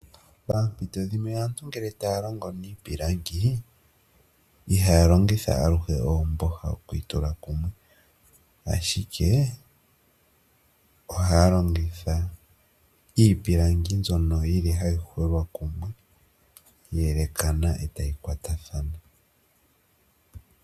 Poompito dhimwe ngele aantu taa longo niipilangi ihaa longitha aluhe oomboha okwiitula kumwe, ashike ohaa longitha iipilangi mbyono yili hayi hwelwa kumwe yayelekathana etayi kwatathana.